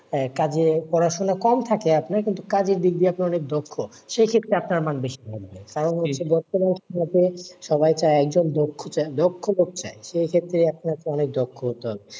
কাজে পড়াশোনা কম থাকে আপনার কিন্তু কাজের দিক দিয়ে আপনি অনেক দক্ষ, সেই ক্ষেত্রে আপনার মান বেশি ভালো হবে, কারণ হচ্ছে সবাই তো একজন দক্ষ দক্ষ লোক চাই সে ক্ষেত্রে আপনাকে অনেক দক্ষ হতে হবে,